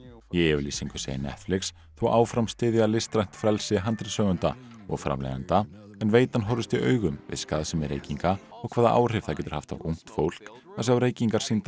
í yfirlýsingu segist Netflix þó áfram styðja listrænt frelsi handritshöfunda og framleiðenda en veitan horfist í augu við skaðsemi reykinga og hvaða áhrif það getur haft á ungt fólk að sjá reykingar sýndar